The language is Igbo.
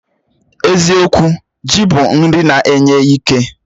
Eziokwu, ji bụ nri na-enye ike